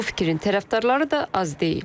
Bu fikrin tərəfdarları da az deyil.